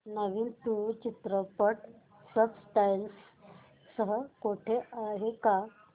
नवीन तुळू चित्रपट subtitles सह कुठे आहे का